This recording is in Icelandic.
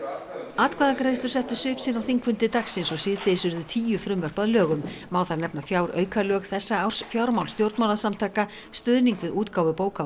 atkvæðagreiðslur settu svip sinn á þingfundi dagsins og síðdegis urðu tíu frumvörp að lögum má þar nefna fjáraukalög þessa árs fjármál stjórnmálasamtaka stuðning við útgáfu bóka